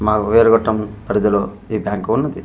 మాకు వేరుగుట్టం పరిది లో ఈ బ్యాంకు ఉన్నది.